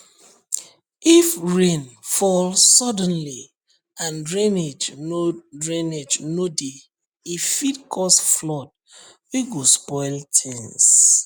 if rain fall suddenly and drainage no drainage no dey e fit cause flood wey go spoil things